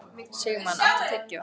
Sigmann, áttu tyggjó?